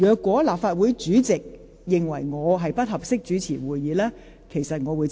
"如立法會主席認為我不適宜主持會議，我會接受。